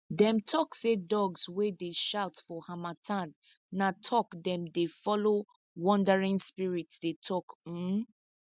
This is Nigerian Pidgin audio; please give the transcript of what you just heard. them tok say dogs wey dey shout for harmattan na talk them dey follow wandering spirits dey tok um